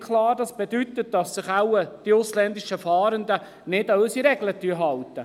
Das bedeutet wohl, dass sich die ausländischen Fahrenden nicht an unsere Regeln halten.